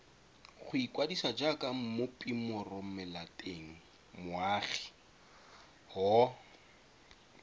go ikwadisa jaaka mmopimoromelatengmoagi w